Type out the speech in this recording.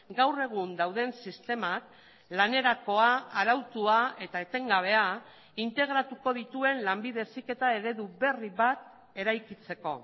gaur egun dauden sistemak lanerakoa arautua eta etengabea integratuko dituen lanbide heziketaeredu berri bat eraikitzeko